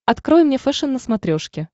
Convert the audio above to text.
открой мне фэшен на смотрешке